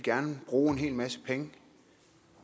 bruge en hel masse penge